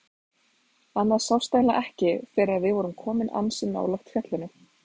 Annað sást eiginlega ekki fyrr en við vorum komin ansi nálægt fjallinu.